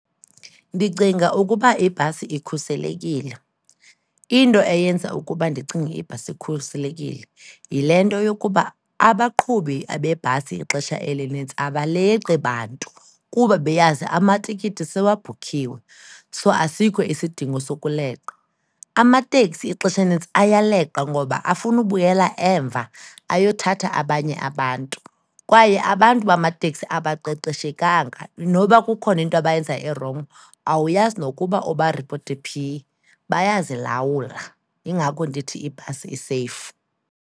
Ndicinga ukuba ibhasi ikhuselekile. Into eyenza ukuba ndicinge ukuba ibhasi ikhuselekile yile nto yokuba abaqhubi abebhasi ixesha elinintsi abaleqi bantu kuba beyazi amatikiti sewabhukhiwe, so asikho isidingo sokuleqa. Amateksi ixesha elinintsi ayaleqa ngoba afuna ubuyela emva ayothatha abanye abantu, kwaye abantu bamateksi abaqeqeshekanga. Noba kukhona into abayenzayo erongo, awuyazi nokuba ubaripote phi, bayazilawula. Yingako ndithi ibhasi iseyifu.